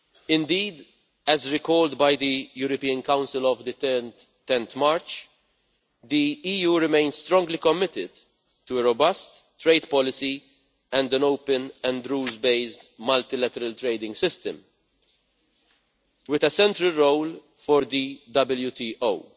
Indeed, as recalled by the European Council of 10 March, the EU remains strongly committed to a robust trade policy and an open and rules based multilateral trading system, with a central role for the WTO.